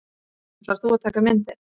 Ætlar þú að taka myndir?